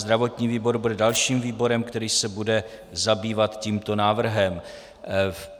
Zdravotní výbor bude dalším výborem, který se bude zabývat tímto návrhem.